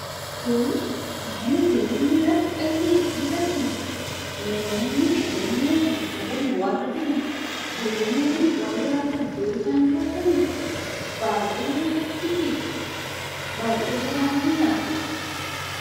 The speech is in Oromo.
Kun mana jireenyaa harka qalleeyyii agarsiisa. Namoonni qabeenya sadarkaa gad bu'aa irra jiran, jireenya gad bu'aa jiraatan iddoo isaan jiraataniidha. Baayyee nama gaddisiisa, baayyee garaa nama nyaata.